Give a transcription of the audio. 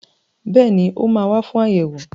Bẹ́ẹ̀ni, ó máa wà fún ayẹwo.